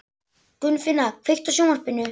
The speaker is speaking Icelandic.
Gunnfinna, kveiktu á sjónvarpinu.